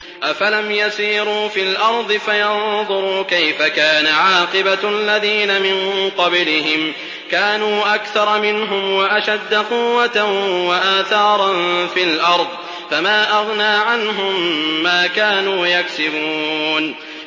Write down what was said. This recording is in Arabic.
أَفَلَمْ يَسِيرُوا فِي الْأَرْضِ فَيَنظُرُوا كَيْفَ كَانَ عَاقِبَةُ الَّذِينَ مِن قَبْلِهِمْ ۚ كَانُوا أَكْثَرَ مِنْهُمْ وَأَشَدَّ قُوَّةً وَآثَارًا فِي الْأَرْضِ فَمَا أَغْنَىٰ عَنْهُم مَّا كَانُوا يَكْسِبُونَ